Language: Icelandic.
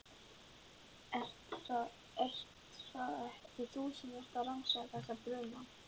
Ert það ekki þú sem ert að rannsaka. þessa bruna?